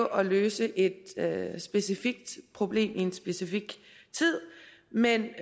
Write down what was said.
at løse et specifikt problem i en specifik tid men